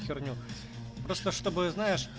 херню просто чтобы знаешь